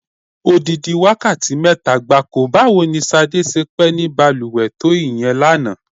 Odidi wákàtí mé̩ta gbáko! Báwo ni S̩adé s̩e pé̩ ní balùwè̩ to ìye̩n lánàá?